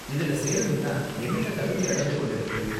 இதுல சேரணும்னா என்னென்ன தகுதி அளவுகோல் இருக்கு?